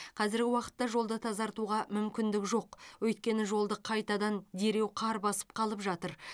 қазіргі уақытта жолды тазартуға мүмкіндік жоқ өйткені жолды қайтадан дереу қар басып қалып жатыр